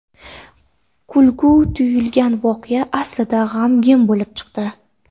Kulgili tuyulgan voqea aslida g‘amgin bo‘lib chiqdi.